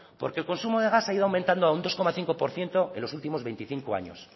porque el consumo del gas ha ido aumentando a un dos coma cinco por ciento en los últimos veinticinco años